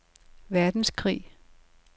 verdenskrig